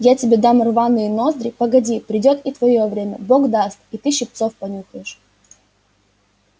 я тебе дам рваные ноздри погоди придёт и твоё время бог даст и ты щипцов понюхаешь